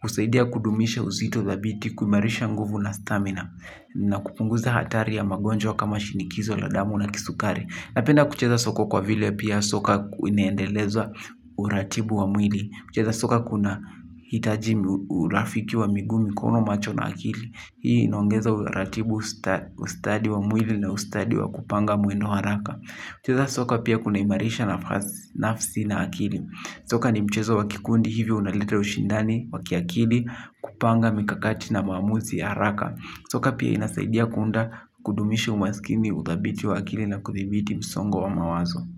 Husaidia kudumisha uzito dhabiti kuimaarisha nguvu na stamina. Na kupunguza hatari ya magonjwa kama shinikizo la damu na kisukari. Napenda kucheza soko kwa vile pia soka inaendeleza uratibu wa mwili mcheza soka kunahitaji urafiki wa miguu, mikono macho na akili. Hii inaongeza uratibu ustadi wa mwili na ustadi wa kupanga mwendo haraka kucheza soka pia kuna imaarisha nafasi nafsi na akili. Soka ni mchezo wa kikundi hivyo unaleta ushindani waki akili kupanga mikakati na maamuzi ya haraka. Soka pia inasaidia kuunda kudumisha umasikini uthabiti wa akili na kuthibiti msongo wa mawazo.